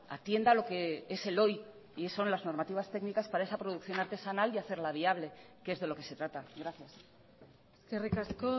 atienda a lo que es el hoy y son las normativas técnicas para esa producción artesanal y hacerla viable que es de lo que se trata gracias eskerrik asko